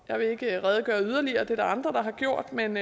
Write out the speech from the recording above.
jeg vil ikke redegøre yderligere det er der andre der har gjort men